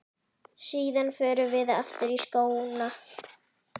Síðan förum við aftur í skóna.